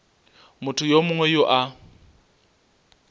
motho yo mongwe yo a